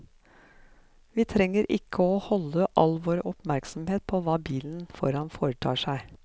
Vi trenger ikke å holde all vår oppmerksomhet på hva bilen foran foretar seg.